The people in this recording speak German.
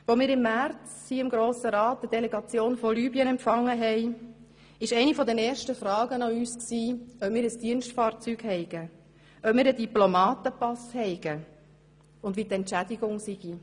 Als wir im März hier im Grossen Rat eine Delegation aus Libyen empfangen haben, lauteten deren erste Fragen an uns, ob wir ein Dienstfahrzeug hätten, ob wir einen Diplomatenpass hätten und wie denn die Entschädigung sei.